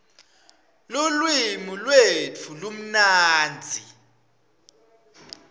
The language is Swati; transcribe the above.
lulwimi lwetfu lumnandzi